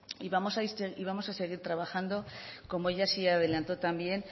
y vamos a seguir trabajando como ella sí adelantó también